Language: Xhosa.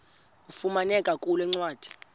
ifumaneka kule ncwadi